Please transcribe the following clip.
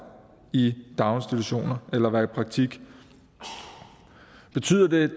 i daginstitutioner eller være i praktik betyder det